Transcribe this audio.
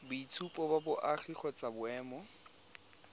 boitshupo ba boagi kgotsa boemo